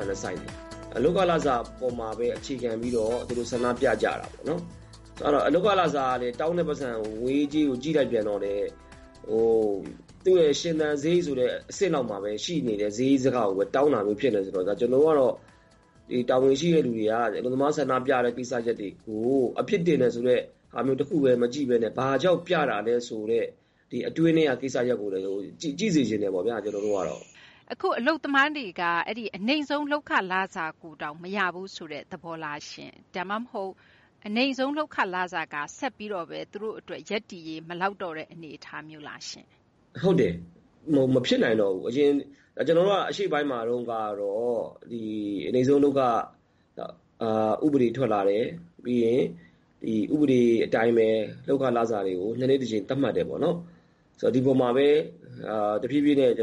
ာနဲ့ ဆိုင်တယ်။ လုပ်ခ လစာပေါ်မှာဘဲ အခြေခံပြီးတော့ သူတို့ ဆန္ဒပြကြတာပေါ့။ လုပ်ခလစာကလည်း တောင်းတဲ့ ပိုက်ဆံ ငွေရေး ကြေးရေးကို ကြည့်လိုက်ပြန်တော့လည်း သူရဲ့ ရှင်သန် စရိတ်ဆိုတဲ့ အဆင့်လောက်မှာဘဲ ရှိနေတဲ့ စရိတ်စကလောက်ကိုဘဲ တောင်းတာမျိုး ဖြစ်နေတော့ ကျနော်တို့ကတော့ တာဝန်ရှိတဲ့ သူတွေက အလုပ်သမား ဆန္ဒပြတဲ့ ကိစ္စတွေကို အပြစ်တင်တယ်ဆိုတဲ့ ဟာ တခုဘဲ မကြည့်ဘဲနဲ့ ဘာကြောင့် ပြတာလဲ ဆိုတဲ့ အတွင်းထဲက ကိစ္စကိုလည်း ကြည့်စေချင်တယ်ပေါ့ဗျာ။ ကျနော်တို့ ကတော့။ သိင်္ဂ ီထိုက် ။ ။ အခု အလုပ်သမားတွေက အနိမ့်ဆုံး လုပ်ခလစာကိုတောင် မရဘူးဆိုတဲ့ သဘောလား။ ဒါမှမဟုတ် အဲဒီ အနိမ့်ဆုံး လုပ်ခလစာက ဆက်ပြီးတော့ သူတို့ ရည်တည်ရေး အတွက် မလောက်တော့တဲ့ အနေအထားမျိုးလားရှင့်။ ကိုသူရိန်အောင် ။ ။ ဟုတ်တယ်။ မဖြစ်နိုင်တော့ဘူး။ ကျနော်တို့က အရင် ကျနော်တို့က အရှေ့ပိုင်းမှာ တုန်းကတော့ အနိမ့်ဆုံး လုပ်ခ ဥပဒေ ထွက်လာတယ်။ ပြီးရင် ဒီ ဥပဒေ အတိုင်းဘဲ လုပ်ခ လစာတွေကို ၂ နှစ် တကြိမ် သတ်မှတ်တယ် ပေါ့နော်။ ဆိုတော့ ဒီပေါ်မှာဘဲ ကျနော်တို့က တဖြည်းဖြည်းနဲ့ ပြုပြ